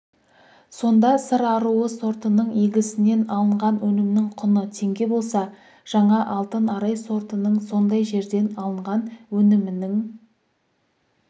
сонда сыр аруы сортының егісінен алынған өнімнің құны теңге болса жаңа алтын арай сортының сондай жерден алынған өнімінің